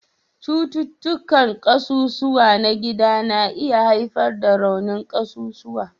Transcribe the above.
Cututtukan ƙasusuwa na gida na iya haifar da raunin ƙasusuwa